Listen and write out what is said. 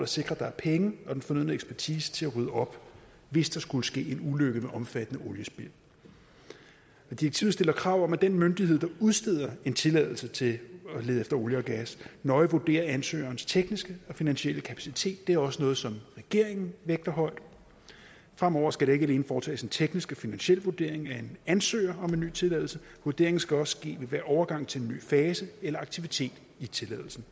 sikre at der er penge og den fornødne ekspertise til at rydde op hvis der skulle ske en ulykke med omfattende oliespild direktivet stiller krav om at den myndighed der udsteder en tilladelse til at lede efter olie og gas nøje vurderer ansøgerens tekniske og finansielle kapacitet det er også noget som regeringen vægter højt fremover skal der ikke alene foretages en teknisk og finansiel vurdering af en ansøger om en ny tilladelse vurderingen skal også ske ved hver overgang til en ny fase eller aktivitet i tilladelsen